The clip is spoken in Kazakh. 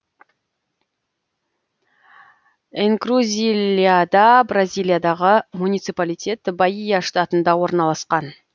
энкрузильяда бразилиядағы муниципалитет баия штатында орналасқан